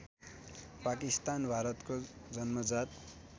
पाकिस्तान भारतको जन्मजात